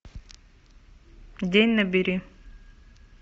день набери